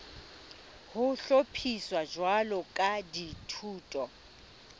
ho hlophiswa jwalo ka dithuto